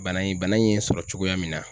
Bana in bana in ye sɔrɔ cogoya min na.